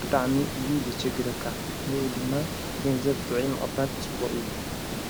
ብጣዕሚ እዩ ዘጨግረካ ንኡ ድማ ገንዘብ ጥዒ ምቕባድ ጽቡቕ እዩ።